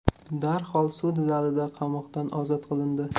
darhol sud zalida qamoqdan ozod qilindi.